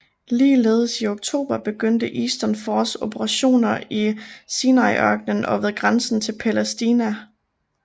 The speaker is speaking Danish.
Ligeledes i oktober begyndte Eastern Force operationer i Sinaiørkenen og ved grænsen til Palæstina